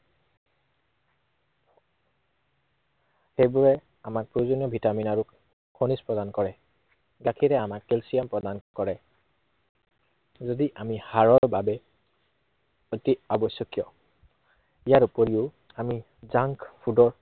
সেইবোৰে আমাক প্ৰয়োজনীয় ভিটামিন আৰু খনিজ প্ৰদান কৰে। গাখীৰে আমাক কেলছিয়াম প্ৰদান কৰে। যদি আমি হাড়ৰ বাবে অতি আৱশ্য়কীয়, ইয়াৰ উপৰিও আমি junk food ৰ